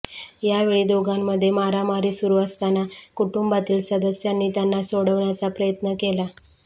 यावेळी दोघांमध्ये मारामारी सुरू असताना कुटुंबातील सदस्यांनी त्यांना सोडवण्याचा प्रयत्न केला